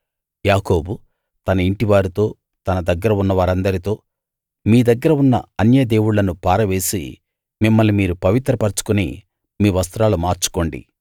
యాకోబు తన ఇంటివారితో తన దగ్గర ఉన్న వారందరితో మీ దగ్గర ఉన్న అన్యదేవుళ్ళను పారవేసి మిమ్మల్ని మీరు పవిత్ర పరచుకుని మీ వస్త్రాలు మార్చుకోండి